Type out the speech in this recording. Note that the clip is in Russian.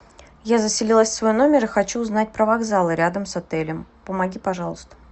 я заселилась в свой номер и хочу узнать про вокзалы рядом с отелем помоги пожалуйста